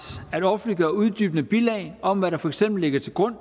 at offentliggøre uddybende bilag om hvad der for eksempel ligger til grund